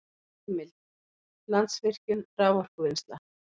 Heimild: Landsvirkjun- raforkuvinnsla